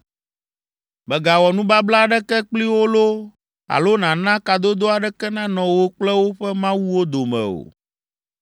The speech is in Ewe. “Mègawɔ nubabla aɖeke kpli wo loo alo nàna kadodo aɖeke nanɔ wò kple woƒe mawuwo dome o.